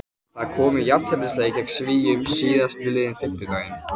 Það kom í jafnteflisleik gegn Svíum síðastliðinn fimmtudag.